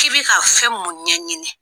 K'i bɛ ka fɛn mun ɲɛɲini